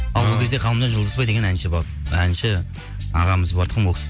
ол кезде ғалымжан жұлдызбай деген әнші ағамыз бар тұғын